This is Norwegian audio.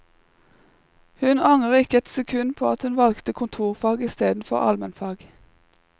Hun angrer ikke et sekund på at hun valgte kontorfag i stedet for almenfag.